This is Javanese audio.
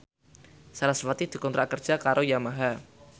sarasvati dikontrak kerja karo Yamaha